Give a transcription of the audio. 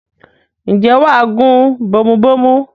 ǹjẹ́ wà á gún bomubómú?